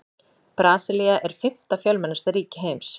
Brasilía er fimmta fjölmennasta ríki heims.